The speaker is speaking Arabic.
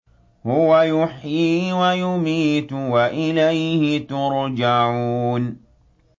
هُوَ يُحْيِي وَيُمِيتُ وَإِلَيْهِ تُرْجَعُونَ